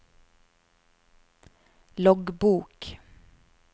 loggbok